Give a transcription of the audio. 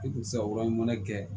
I kun tɛ se ka yɔrɔ ɲuman kɛ